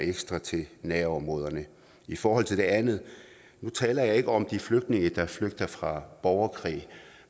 ekstra til nærområderne i forhold til det andet nu taler jeg ikke om de flygtninge der flygter fra borgerkrig